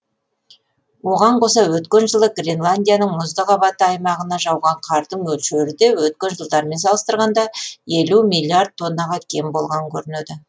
оған қоса өткен жылы гренландияның мұзды қабаты аймағына жауған қардың мөлшері де өткен жылдармен салыстырғанда елу миллиард тоннаға кем болған көрінеді